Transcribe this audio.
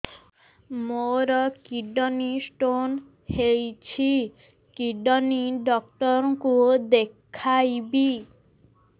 ମୋର kidney stone ହେଇଛି kidney doctor କୁ ଦେଖାଇବି